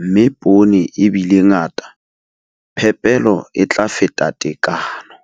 mme poone e bile ngata, phepelo e tla feta tekano.